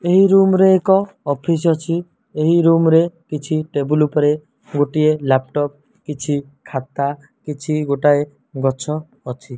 ଏହି ରୁମ ରେ ଏକ ଅଫିସ୍ ଅଛି ଏହି ରୁମ ରେ କିଛି ଟେବୁଲ ଉପରରେ ଗୋଟିଏ ଲ୍ୟାପଟପ୍ ଅଛି ଖାତା କିଛି ଗୋଟିଏ ଗଛ ଅଛି।